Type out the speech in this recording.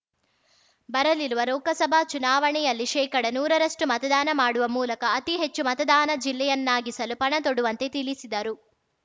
ಬರಲಿರುವ ಲೋಕಸಭಾ ಚುನಾವಣೆಯಲ್ಲಿ ಶೇಕಡನೂರರಷ್ಟುಮತದಾನ ಮಾಡುವ ಮೂಲಕ ಅತಿ ಹೆಚ್ಚು ಮತದಾನ ಜಿಲ್ಲೆಯನ್ನಾಗಿಸಲು ಪಣ ತೊಡುವಂತೆ ತಿಳಿಸಿದರು